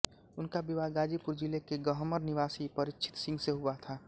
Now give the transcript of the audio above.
उनका विवाह गाजीपुर जिले के गहमर निवासी परीक्षित सिंह से हुआ था